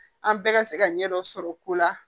An bɛɛ ka se ka ɲɛ dɔ sɔrɔ ko la